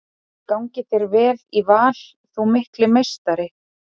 Gangi þér vel í Val þú mikli meistari!